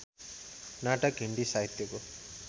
नाटक हिन्दी साहित्यको